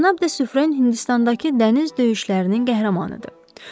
Cənab de Sufrə Hindistandakı dəniz döyüşlərinin qəhrəmanıdır.